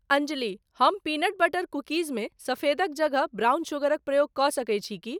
अंजली, हम peanut butter cookies मे सफेदक जगह ब्राउन शुगरक प्रयोग क' सकैत छी की?